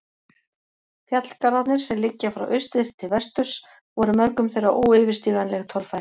Fjallgarðarnir, sem liggja frá austri til vesturs, voru mörgum þeirra óyfirstíganleg torfæra.